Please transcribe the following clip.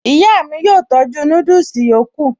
Ìyá mi yóò tọ́jú núdùsì yòókù